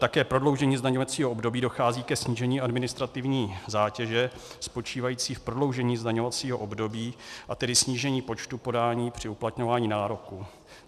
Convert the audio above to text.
Také prodloužením zdaňovacího období dochází ke snížení administrativní zátěže spočívající v prodloužení zdaňovacího období, a tedy snížení počtu podání při uplatňování nároků.